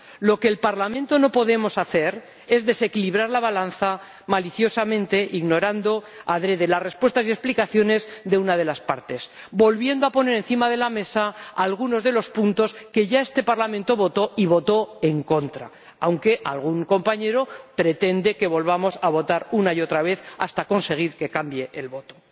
Lo que en el Parlamento no podemos hacer es desequilibrar la balanza maliciosamente, ignorando adrede las respuestas y explicaciones de una de las partes, volviendo a poner encima de la mesa algunos de los puntos que ya este Parlamento votó —y votó en contra—, aunque algún compañero pretende que volvamos a votar una y otra vez hasta conseguir que cambie el voto.